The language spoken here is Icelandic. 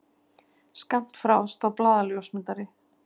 Skammt frá stóð blaðaljósmyndari.